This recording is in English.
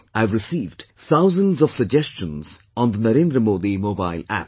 I have received thousands of suggestions on the NarendraModi Mobile App